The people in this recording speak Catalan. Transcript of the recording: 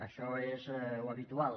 això és l’habitual